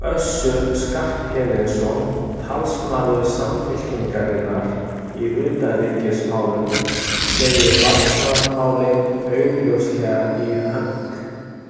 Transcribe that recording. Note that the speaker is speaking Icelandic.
Össur Skarphéðinsson, talsmaður Samfylkingarinnar í utanríkismálum, segir varnarmálin augljóslega í hönk.